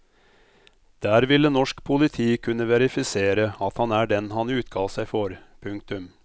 Der ville norsk politi kunne verifisere at han er den han utga seg for. punktum